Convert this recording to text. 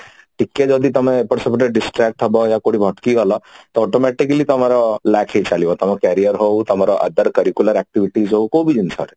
ଟିକେ ଯଦି ତମେ ଏପଟ ସେପଟ distract ହବ ବା କୋଉଠି ଅଟକି ଗଲ ତ automatically ତମର lack ହେଇଚାଲିବ ତମ career ହଉ ତମର other curricular activities ହଉ କୋଉ ବି ଜିନିଷ ରେ